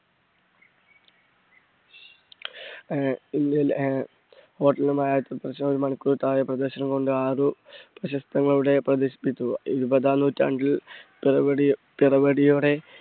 ആഹ് ആഹ് ഒരു മണിക്കൂറിൽ താഴെ പ്രദർശനം കൊണ്ട് ആറ് ചിത്രങ്ങളവിടെ പ്രദർശിപ്പിച്ചു. ഇരുപതാം നൂറ്റാണ്ടിൽ